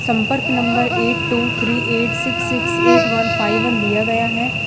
संपर्क number eight two three eight six six eight one five one दिया गया है।